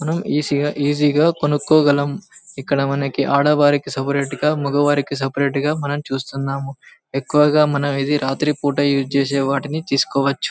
మనం ఈజీ గ కొనుకోగలం ఇక్కడ మనకి ఆడవారికి--